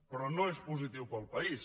però no és positiu per al país